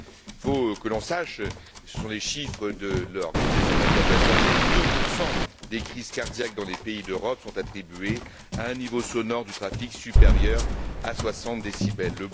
Il faut qu'on le sache, ce sont des chiffres de l'Organisation mondiale de la santé, 2 des crises cardiaques dans les pays d'Europe sont attribués à un niveau sonore du trafic supérieur à 60 décibels.